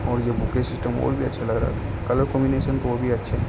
और ये bouquet system और भी अच्छा लग रहा है कलर कॉम्बिनेशन तो और भी अच्छे हैं।